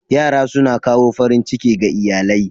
Yara suna kawo farin ciki ga iyalai.